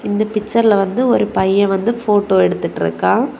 இந்த பிச்சர் ல வந்து ஒரு பையன் வந்து ஃபோட்டோ எடுத்துட்டு இருக்கான்.